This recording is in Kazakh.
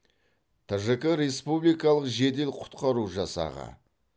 тжк республикалық жедел құтқару жасағы